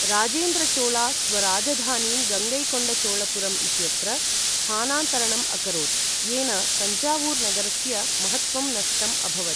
राजेन्द्रचोळा स्वराजधानीं गङ्गैकोण्डचोलपुरम् इत्यत्र स्थानान्तरणम् अकरोत्, येन तञ्जावूर् नगरस्य महत्त्वं नष्टम् अभवत्।